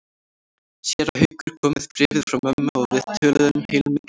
Séra Haukur kom með bréfið frá mömmu og við töluðum heilmikið saman.